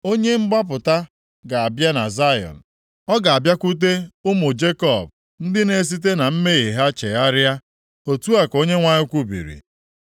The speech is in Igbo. “Onye mgbapụta ga-abịa na Zayọn; ọ ga-abịakwute ụmụ Jekọb ndị na-esite na mmehie ha chegharịa.” Otu a ka Onyenwe anyị kwubiri.